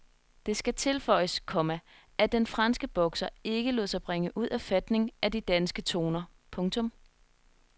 Det skal tilføjes, komma at den franske bokser ikke lod sig bringe ud af fatning af de danske toner. punktum